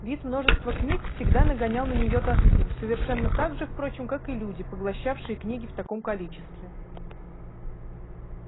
вид множества книг всегда нагонял на неё тоску совершенно так же впрочем как и люди поглощавшие книги в таком количестве